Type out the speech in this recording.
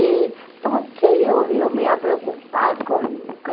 E então, o que eu eu me ia preocupar com com?